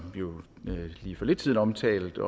lige for lidt siden omtalt af